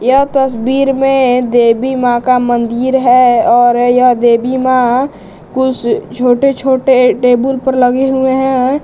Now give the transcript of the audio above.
यह तस्वीर में एक देबी मां का मंदिर है और यह देबी मां कुछ छोटे छोटे टेबुल पर लगे हुए हैं।